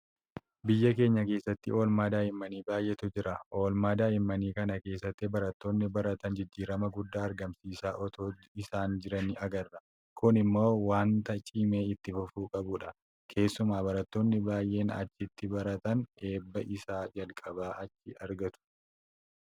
Biyya keenya keessatti oolmaa daa'immanii baay'eetu jira. Oolmaa daa'immanii kana keessatti barattoonni baratan jijjiitama guddaa argisiisaa itoo isaan jiranii agarra. Kun immoo waanta cimee itti fufuu qabudha. Keessumaa barattoonni baay'een achitti baratan eebba isa jalqabaa achii argatu.